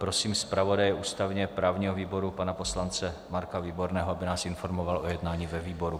Prosím zpravodaje ústavně-právního výboru pana poslance Marka Výborného, aby nás informoval o jednání ve výboru.